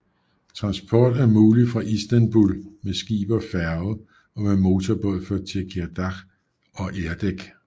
Transport er mulig fra Istanbul med skib og færge og med motorbåd fra Tekirdağ og Erdek